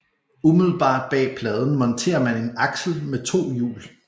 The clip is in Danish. Umiddelbart bag pladen monterer man en aksel med to hjul